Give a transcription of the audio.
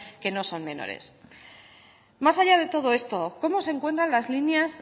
que no son menores más allá de todo esto cómo se encuentran las líneas